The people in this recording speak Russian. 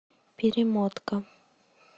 перемотка